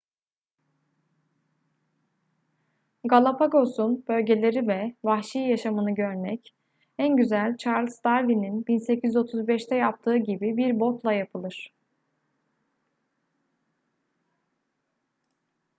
galapagos'un bölgeleri ve vahşi yaşamını görmek en güzel charles darwin'in 1835'te yaptığı gibi bir botla yapılır